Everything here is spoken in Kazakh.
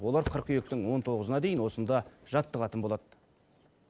олар қыркүйектің он тоғызына дейін осында жаттығатын болады